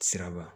Siraba